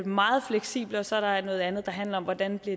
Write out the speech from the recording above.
meget fleksible og så er der noget andet der handler om hvordan